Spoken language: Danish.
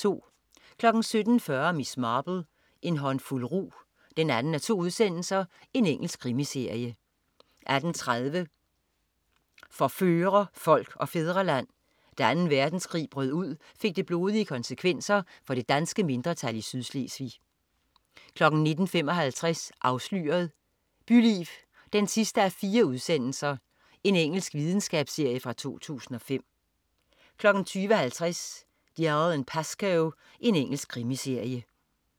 17.40 Miss Marple: En håndfuld rug 2:2. Engelsk krimiserie 18.30 For fører, folk og fædreland. Da 2. verdenskrig brød ud, fik det blodige konsekvenser for det danske mindretal i Sydslesvig 19.55 Afsløret: Byliv 4:4. Engelsk videnskabsserie fra 2005 20.50 Dalziel & Pascoe. Engelsk krimiserie